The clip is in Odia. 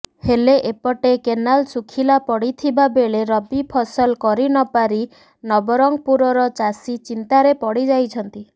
ହେଲେ ଏପଟେ କେନାଲ ଶୁଖିଲା ପଡିଥିବା ବେଳେ ରବି ଫସଲ କରିନପାରି ନବରଙ୍ଗପୁରର ଚାଷୀ ଚିନ୍ତାରେ ପଡିଯାଇଛନ୍ତି